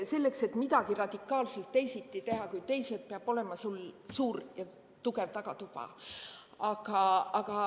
Selleks, et midagi radikaalselt teisiti teha kui teised, peab sul olema suur ja tugev tagatuba.